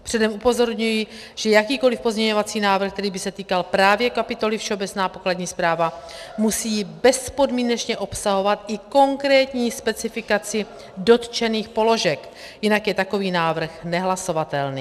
Předem upozorňuji, že jakýkoli pozměňovací návrh, který by se týkal právě kapitoly Všeobecná pokladní správa, musí bezpodmínečně obsahovat i konkrétní specifikaci dotčených položek, jinak je takový návrh nehlasovatelný.